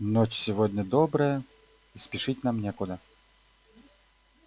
ночь сегодня добрая и спешить нам некуда